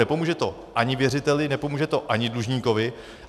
Nepomůže to ani věřiteli, nepomůže to ani dlužníkovi.